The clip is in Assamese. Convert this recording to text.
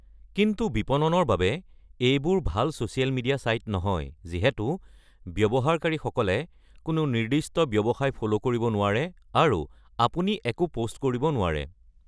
কিন্তু বিপণনৰ বাবে এইবোৰ ভাল ছ'চিয়েল মিডিয়া ছাইট নহয়, যিহেতু ব্যৱহাৰকাৰীসকলে কোনো নিৰ্দিষ্ট ব্যৱসায় "ফ'লো" কৰিব নোৱাৰে আৰু আপুনি একো পোষ্ট কৰিব নোৱাৰে।